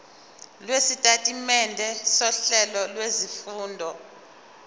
lwesitatimende sohlelo lwezifundo